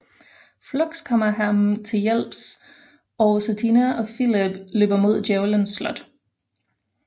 Fluks kommer ham til hjælp og Satina og Filip løber mod Djævelens slot